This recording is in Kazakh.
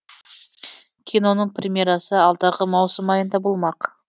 киноның премьерасы алдағы маусым айында болмақ